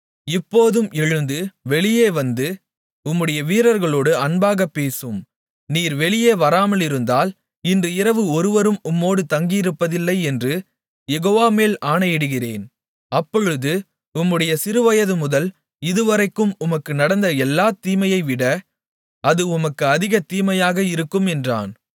இப்போதும் எழுந்து வெளியே வந்து உம்முடைய வீரர்களோடு அன்பாகப் பேசும் நீர் வெளியே வராமலிருந்தால் இன்று இரவு ஒருவரும் உம்மோடு தங்கியிருப்பதில்லை என்று யெகோவாமேல் ஆணையிடுகிறேன் அப்பொழுது உம்முடைய சிறுவயது முதல் இதுவரைக்கும் உமக்கு நடந்த எல்லாத் தீமையைவிட அது உமக்கு அதிகத் தீமையாக இருக்கும் என்றான்